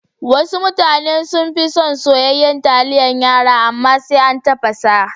Wasu mutane sunfi son soyayyan taliyan yara, amma sai an tafasa sa.